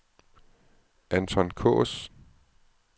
Anton Kaas